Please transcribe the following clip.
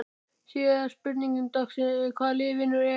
Síðari spurning dagsins er: Hvaða lið vinnur EM?